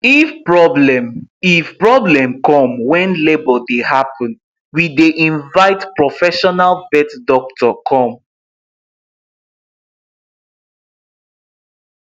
if problem if problem come when labour dey happen we dey invite profesional vet doctor come